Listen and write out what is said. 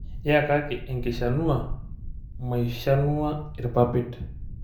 Yakaki enkishanua maishanua irpapit.